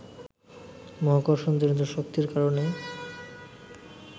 মহাকর্ষণ-জনিত শক্তির কারণেই